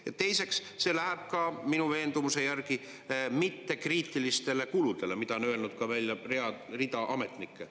Ja teiseks, see läheb minu veendumuse järgi ka mittekriitiliste kulude jaoks, mida on öelnud välja rida ametnikke.